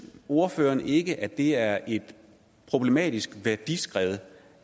ordføreren ikke at det er et problematisk værdiskred